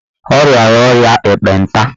O rịara ọrịa ekpenta.